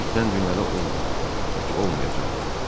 Belə itdən dünyada olmayıb, heç olmayacaq da.